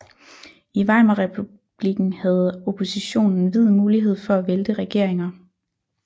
I Weimarrepublikken havde oppositionen vid mulighed for at vælte regeringer